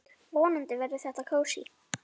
Vonandi verður þetta kósí.